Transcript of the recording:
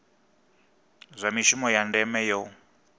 zwa mishumo ya ndeme yo